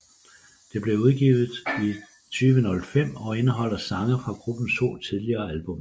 Det blev udgivet i 2005 og indeholder sange fra gruppens to tidligere albums